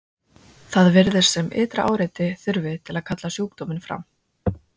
það virðist sem ytra áreiti þurfi til að kalla sjúkdóminn fram